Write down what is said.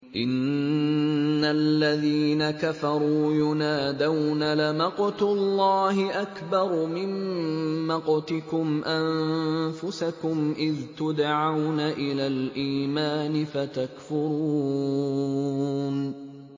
إِنَّ الَّذِينَ كَفَرُوا يُنَادَوْنَ لَمَقْتُ اللَّهِ أَكْبَرُ مِن مَّقْتِكُمْ أَنفُسَكُمْ إِذْ تُدْعَوْنَ إِلَى الْإِيمَانِ فَتَكْفُرُونَ